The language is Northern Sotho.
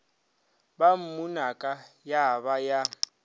ba mmunaka ya ba ya